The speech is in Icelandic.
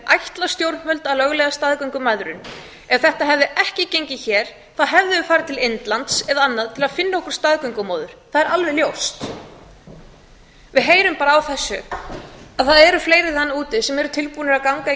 ætla stjórnvöld að lögleiða staðgöngumæðrun ef þetta hefði ekki gengið hér þá hefðum við farið til indlands eða annað til að finna okkur staðgöngumóður það er alveg ljóst við heyrum bara á þessu að það eru fleiri menn úti sem eru tilbúnir að ganga í